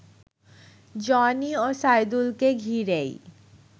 Johnny ও সাইদুলকে ঘিরেই